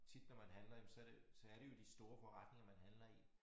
Tit når man handler jamen så det så er det jo de store forretninger man handler i